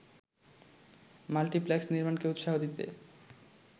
multiplex নির্মাণকে উৎসাহ দিতে